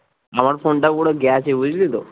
আমার ফোনটা পুরো গেছে বুঝলি তো